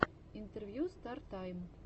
интервью стар тайм